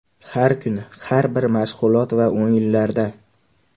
Har kuni, har bir mashg‘ulot va o‘yinlarda.